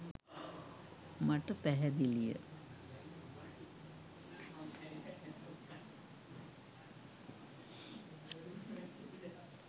මට පැහැදිලිය.